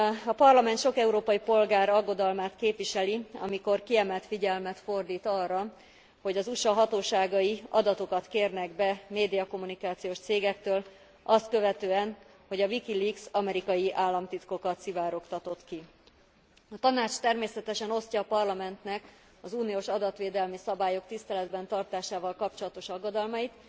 A Parlament sok európai polgár aggodalmát képviseli, amikor kiemelt figyelmet fordít arra, hogy az USA hatóságai adatokat kérnek be médiakommunikációs cégektől azt követően, hogy a WikiLeaks amerikai államtitkokat szivárogtatott ki. A Tanács természetesen osztja a Parlamentnek az uniós adatvédelmi szabályok tiszteletben tartásával kapcsolatos aggodalmait.